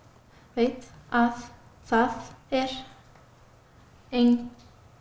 veit að það er enginn